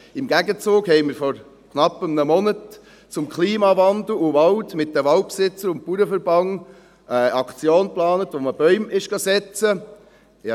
Im Gegenzug hatten wir vor knapp einem Monat mit den Waldbesitzern und dem Bauernverband eine Aktion zum Thema Klimawandel und Wald geplant, wo man Bäume setzen ging.